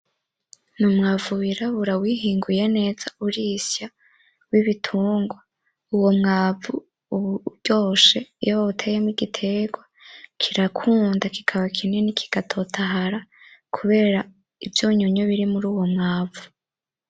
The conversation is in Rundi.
N'umwavu wirabura wihinguye neza urisya w'ibitungwa uwo mwavu uba uryoshe iyo wawuteyemwo igiterwa kirakunda, kikaba kinini kiga totahara kubera ivyunyunyu biri muri uwo mwavu.